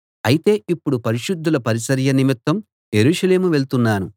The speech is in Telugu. అయితే ఇప్పుడు పరిశుద్ధుల పరిచర్య నిమిత్తం యెరూషలేము వెళ్తున్నాను